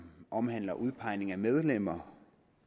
omhandler udpegning af medlemmer